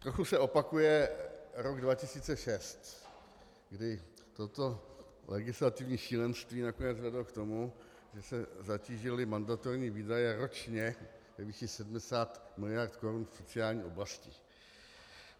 Trochu se opakuje rok 2006, kdy toto legislativní šílenství nakonec vedlo k tomu, že se zatížily mandatorní výdaje ročně ve výši 70 mld. korun v sociální oblasti.